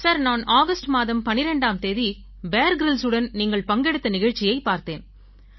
sir நான் August மாதம் 12ஆம் தேதி பியர் கிரில்ஸ் உடன் நீங்கள் பங்கெடுத்த நிகழ்ச்சியைப் பார்த்தேன்